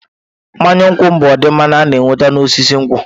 Mmanya nkwu bụ ụdị mmanya a na-enweta n'osisi nkwụ.